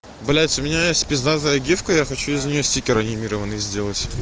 блять у меня есть пиздатая гифка я хочу из нее стикер анимированный сделать